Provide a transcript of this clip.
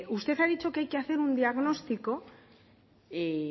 usted ha dicho que hay que hacer un diagnóstico y